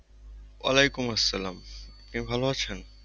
ওয়ালাইকুম আসসালাম। আপনি ভালো আছেন?